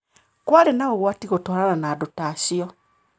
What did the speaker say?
Kwarĩ na ũgwati gũtwarana na andũ ta acio